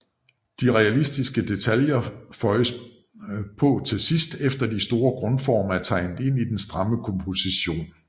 De realistiske detaljer føjes på til sidst efter de store grundformer er tegnet ind i den stramme komposition